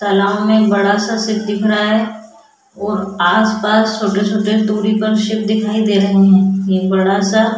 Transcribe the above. तालाब में बड़ा सा शिप दिख रहा है और आसपास छोटे छोटे दूरी पर शिप दिखाई दे रहे हैं ये बड़ा सा --